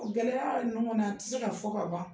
Gɛlɛya ninnu kɔni a tɛ se ka fɔ ka ban.